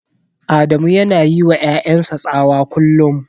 Adamu yana yiwa ƴaƴan sa tsawa kullum.